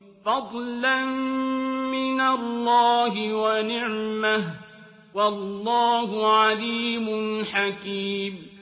فَضْلًا مِّنَ اللَّهِ وَنِعْمَةً ۚ وَاللَّهُ عَلِيمٌ حَكِيمٌ